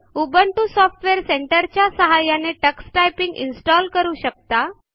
Ubuntu software centre च्या सहाय्याने Tux typing install करू शकता